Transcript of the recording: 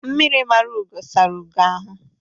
Mmiri mara ugo sara ugo ahụ